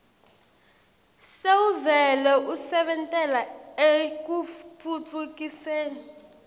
sewuvele usebentela ekutfutfukiseni